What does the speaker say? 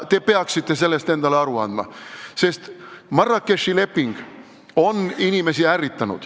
Te peaksite sellest endale aru andma, sest Marrakechi leping on inimesi ärritanud.